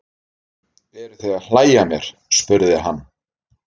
Eruð þér að hlæja að mér? spurði hann.